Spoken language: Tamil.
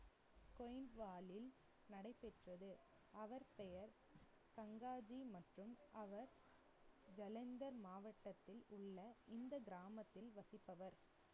நடைபெற்றது. அவர் பெயர் கங்காஜி மற்றும் அவர் ஜலந்தர் மாவட்டத்தில் உள்ள இந்த கிராமத்தில் வசிப்பவர்.